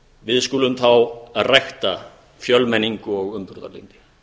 við skulum þá rækta fjölmenningu og umburðarlyndi